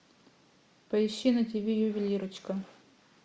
поищи на ти ви ювелирочка